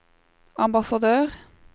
ambassadør